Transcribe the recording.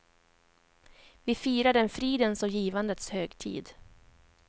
Vi firar en fridens och givandets högtid.